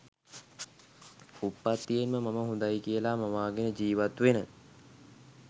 උප්පත්තියෙන්ම මම හොඳයි කියලා මවාගෙන ජීවත්වෙන